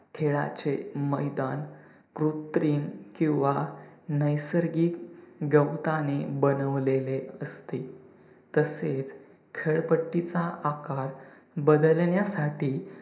खेळाचे मैदान कृत्रिम किंवा नैसर्गिक गवताने बनवलेले असते. तसेच खेळपट्टिचा आकार बदलण्यासाठी